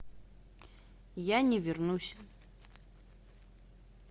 я не вернусь